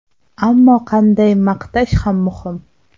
Ammo qanday maqtash ham muhim.